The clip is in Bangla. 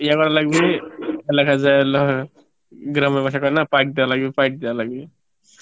ইয়ে করা লাগবে গ্রামের ভাসায় কয়ে না লাগবে লাগবে